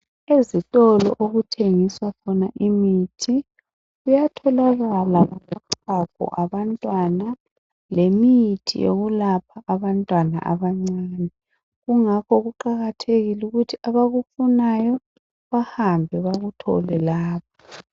Ezitolo okuthengiswa khona imithi kuyatholakala lochago lwabantwana lemithi yokulapha abantwana abancane kungakho kuqakathekile ukuthi abakufunayo bahambe bakuthole lapha.